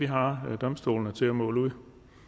har vi domstolene til at måle ud